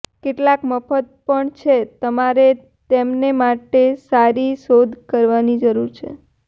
કેટલાક મફત પણ છે તમારે તેમને માટે સારી શોધ કરવાની જરૂર છે